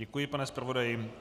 Děkuji, pane zpravodaji.